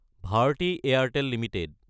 Bharati Airtel Ltd